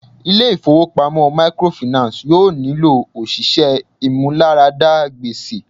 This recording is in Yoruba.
Ilé ifowopamọ microfinance yóò nílò òṣìṣẹ́ ìmúláradá gbèsè.